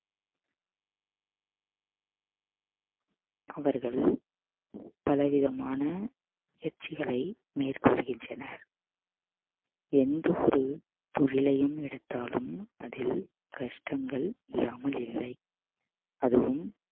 அவர்கள் பல விதமான எச்சிகளை மேற்கொள்கின்றனர் எந்த ஒரு தொழிலையும் எடுத்தாலும் அதில் கஷ்டங்கள் இல்லாமல் இல்லை அதுவும்